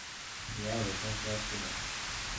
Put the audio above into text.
Jirki abahey aad ba lodacaytire.